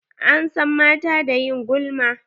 An san mata da ƴin gulma.